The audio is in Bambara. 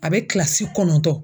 A bɛ kilasi kɔnɔntɔn